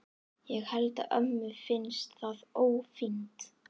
Ég held að ömmu finnist það ófínt.